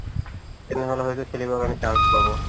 তেনেহ'লে হয়তো খেলিবৰ কাৰণে chance পাব